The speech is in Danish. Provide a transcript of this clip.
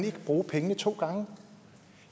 ikke bruge pengene to gange